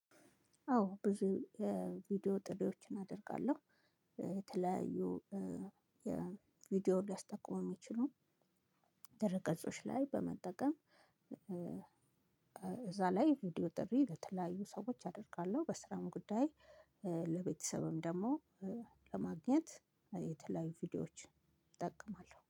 አዎ ብዙ ቪዲዮ ጥሬዎችን አደርጋለሁ። የተለያዩ ቪዲዮ ሊያስጠቅሙ የሚችሉ ድረገጾች ላይ በመጠቀም እዛ ላይ ቪዲዮ ጥሪ ለተለያዩ ሰዎች አደርጋለሁ። በስራም ጉዳይ ለቤተሰብም ደግሞ ለማግኘት የተለያዩ ቪዲዮዎች እጠቀማለሁ